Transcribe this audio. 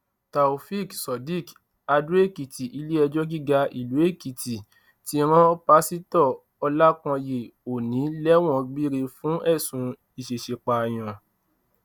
taofeek surdiq adóekìtì iléẹjọ gíga ìlú adóekìtì ti rán pásítọ ọlákányé òní lẹwọn gbére fún ẹsùn ìṣeéṣípààyàn